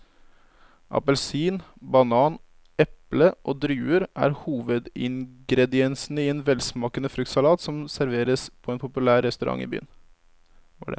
Appelsin, banan, eple og druer er hovedingredienser i en velsmakende fruktsalat som serveres på en populær restaurant i byen.